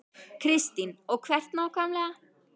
Kristín: Og hvert nákvæmlega?